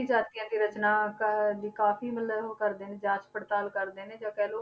ਜਾਤੀਆਂ ਦੀ ਰਚਨਾ ਕ~ ਦੀ ਕਾਫ਼ੀ ਮਤਲਬ ਉਹ ਕਰਦੇ ਨੇ ਜਾਂਚ ਪੜਤਾਲ ਕਰਦੇ ਨੇ ਜਾ ਕਹਿ ਲਓ